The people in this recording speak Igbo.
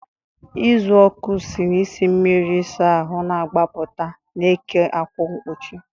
Uzuoku si n'isi mmiri ịsa ahụ na-agbaputa, na-eke ákwà mkpuchi.